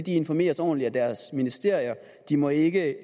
informeres ordentligt af deres ministerier de må ikke